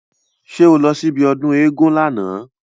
Ṣé o lọ sí ibi ọdún éégún lána?